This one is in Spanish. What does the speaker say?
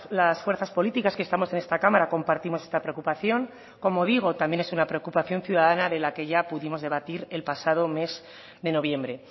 las fuerzas políticas que estamos en esta cámara compartimos esta preocupación como digo también es una preocupación ciudadana de la que ya pudimos debatir el pasado mes de noviembre